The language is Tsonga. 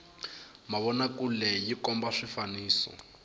mavona kule yi komba swifaniso